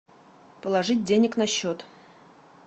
положить денег на счет